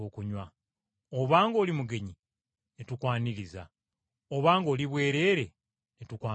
Oba ng’oli mugenyi ne tukwaniriza? Oba ng’oli bwereere, ne tukwambaza?